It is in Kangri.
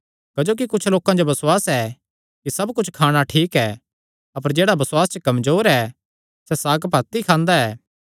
क्जोकि कुच्छ लोकां जो बसुआस ऐ कि सब कुच्छ खाणा ठीक ऐ अपर जेह्ड़ा बसुआसे च कमजोर ऐ सैह़ साग पात ई खांदा ऐ